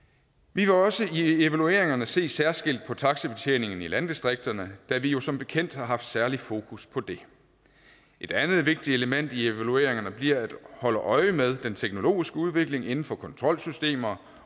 vi vil også i evalueringerne se særskilt på taxibetjeningen i landdistrikterne da vi jo som bekendt har haft særlig fokus på det et andet vigtigt element i evalueringerne bliver at holde øje med den teknologiske udvikling inden for kontrolsystemer